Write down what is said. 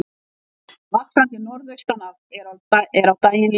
Vaxandi norðaustanátt er á daginn líður